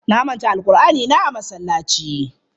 Na manta alqur'anina a masallaci.